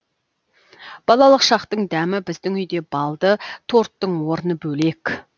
балалық шақтың дәмі біздің үйде балды торттың орны бөлек